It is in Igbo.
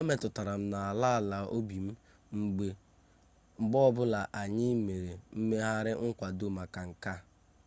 ọ metụtara m n'ala ala obi m mgbe ọbụla anyị mere mmegharị nkwado maka nke a